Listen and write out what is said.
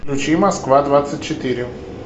включи москва двадцать четыре